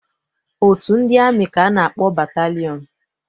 Otu ndị amị ka a na-akpọ batalịọn.